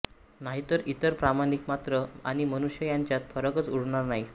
नाहीतर इतर प्राणिमात्र आणि मनुष्य यांच्यात फरकच उरणार नाही